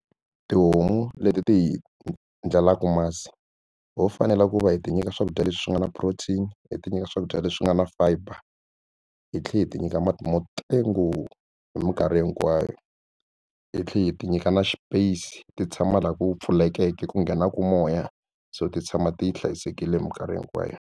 Tihomu leti ti hi ndlelaka masi ho fanele ku va hi ti nyika swakudya leswi nga na protein hi ti nyika swakudya leswi nga na fiber hi tlhela hi ti nyika mati mo tengo hi mikarhi hinkwayo hi tlhela hi ti nyika na space ti tshama laha ku pfulekeke ku nghenaku moya so ti tshama ti hlayisekile mikarhi hinkwayo.